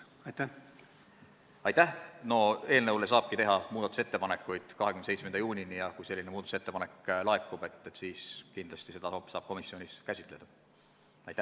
No eelnõu kohta saabki 27. juunini muudatusettepanekuid teha ja kui selline ettepanek laekub, siis kindlasti komisjon käsitleb seda.